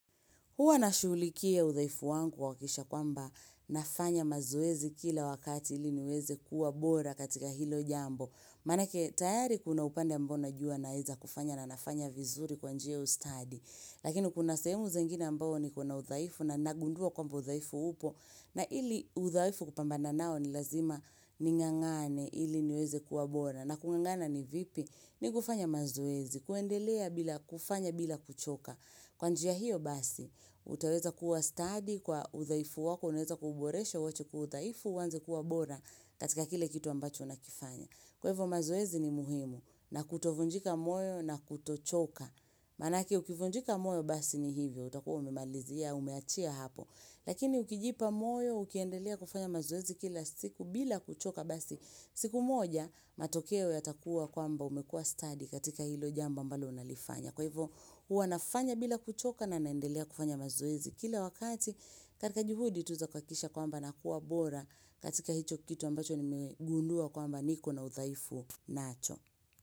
Huwa na shuulikia uthaifu wangu kuhakisha kwamba nafanya mazoezi kila wakati ili niweze kuwa bora katika hilo jambo. Manake tayari kuna upande ambao najua na eza kufanya na nafanya vizuri kwanjia ya ustadi. Lakini kuna sahemu zingine amabao ni kona uthaifu na nagundua kwamba uthaifu upo na ili uthaifu kupambana nao ni lazima ningangane ili niweze kuwa bora. Na kungangana ni vipi ni kufanya mazoezi, kuendelea bila kufanya bila kuchoka. Kwa njia hiyo basi, utaweza kuwa studi kwa uthaifu wako, unaeza kuuboresha uwache kuwa uthaifu, uanze kuwa bora katika kile kitu ambacho unakifanya. Kwa hivyo mazoezi ni muhimu na kutovunjika moyo na kutochoka. Manake ukivunjika moyo basi ni hivyo, utakuwa ume malizia, umeachia hapo. Lakini ukijipa moyo, ukiendelea kufanya mazoezi kila siku bila kuchoka basi. Siku moja, matokeo yatakuwa kwamba umekua stadi katika hilo jambo ambalo unalifanya. Kwa hivyo huwanafanya bila kuchoka na naendelea kufanya mazoezi. Kila wakati katika juhudi tuza kuhakikisha kwamba nakua bora katika hicho kitu ambacho nimegundua kwamba niko na uthaifu nacho.